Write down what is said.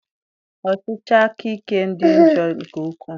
Ọchịchị akaike dị njọ nke ukwu.